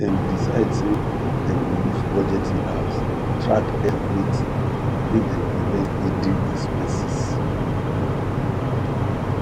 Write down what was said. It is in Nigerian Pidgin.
dem decide say dem go use budgeting apps track everything make dem prevent hidden expanses